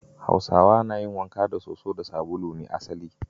Hausawa na yin wanka da sosa da sabulu ne asali.